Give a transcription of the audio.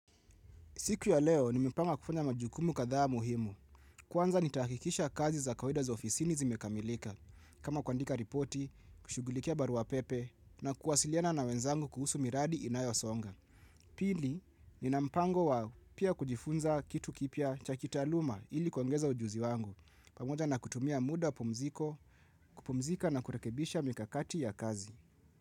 Siku ya leo, nimepanga kufanya majukumu kadhaa muhimu. Kwanza nitahakikisha kazi za kawaida za ofisini zimekamilika, kama kuandika ripoti, kushughulikia barua pepe na kuwasiliana na wenzangu kuhusu miradi inayosonga. Pili, nina mpango wa pia kujifunza kitu kipya cha kitaaluma ili kuongeza ujuzi wangu. Pamoja na kutumia muda wa pumziko, kupumzika na kurekebisha mikakati ya kazi.